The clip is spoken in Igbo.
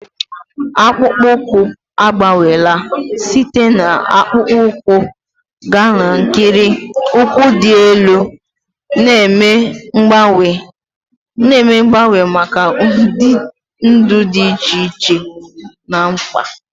Akpụkpọ ụkwụ agbanweela site na akpụkpọ ụkwụ gaa n'ikiri ụkwụ dị elu, na-eme mgbanwe maka ụdị ndụ dị iche iche na mkpa.